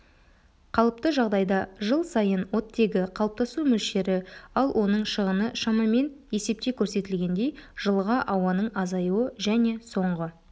қалыпты жағдайда жыл сайын оттегі қалыптасу мөлшері ал оның шығыны шамамен есепте көрсетілгендей жылға ауаның азаюы және соңғы